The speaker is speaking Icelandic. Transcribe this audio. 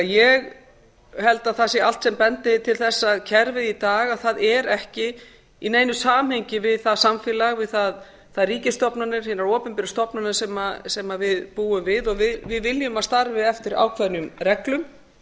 ég held því að það sé allt sem bendi til þess að kerfið í dag sé ekki í neinu samhengi við það samfélag við þær ríkisstofnanir hinar opinberu stofnanir sem við ber við og við viljum að starfi eftir ákveðnum reglum